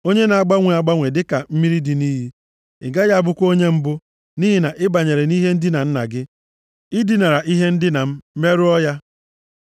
Onye na-agbanwe agbanwe dịka mmiri dị nʼiyi, ị gaghị abụkwa onye mbụ, nʼihi na ị banyere nʼihe ndina nna gị, i dinara nʼihe ndina m, merụọ ya.